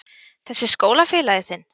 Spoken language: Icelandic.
Þessi skólafélagi þinn?